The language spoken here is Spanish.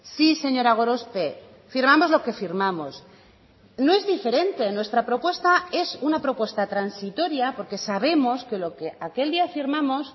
sí señora gorospe firmamos lo que firmamos no es diferente nuestra propuesta es una propuesta transitoria porque sabemos que lo que aquel día firmamos